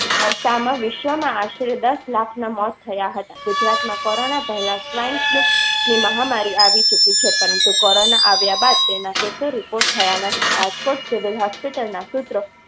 વિશ્વમાં આશરે દસ લાખ ના મોત થયાં હતાં. ગુજરાતમાં કોરોના પેહલા swine flu ની મહામારી આવી ચુકી છે. પરંતુ કોરોના આવ્યા બાદ તેના report થયા નથી રાજકોટ સિવિલ hospital ના સૂત્ર